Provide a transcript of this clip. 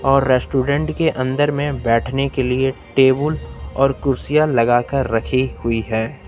और रेस्टोरेंट के अंदर में बैठने के लिए टेबुल और कुर्सियां लगाकर रखी हुई है।